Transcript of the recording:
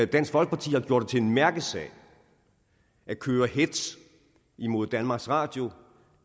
dansk folkeparti har gjort det til en mærkesag at køre hetz imod danmarks radio